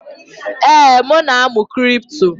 Ee, m na-amụ kripto